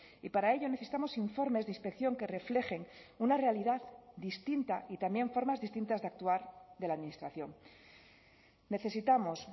y para ello necesitamos informes de inspección que reflejen una realidad distinta y también formas distintas de actuar de la administración necesitamos